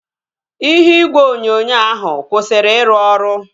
Ihe igwe onyonyo ahụ kwụsịrị iru ọrụ